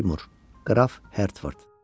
Seymour, qraf Hertford.